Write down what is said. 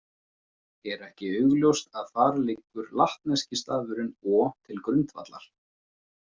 Er ekki augljóst að þar liggur latneski stafurinn o til grundvallar.